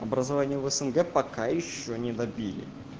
образование в снг пока ещё не добили